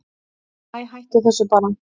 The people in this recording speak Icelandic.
Æi, hættu þessu bara.